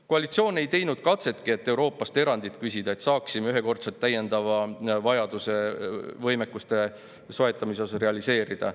Koalitsioon ei teinud katsetki, et Euroopast erandit küsida, nii et me saaksime võimete soetamise ühekordse täiendava vajaduse realiseerida.